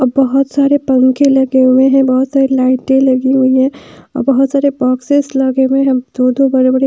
बहोत सारे पंखे लगे हुए हैं बहोत सारी लाइटे लगी हुई है। बहुत सारे बॉक्सेस लगे हुए हैं। दो दो बड़े बड़े--